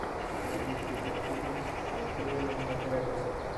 найди список фильмов с юэном макгрегором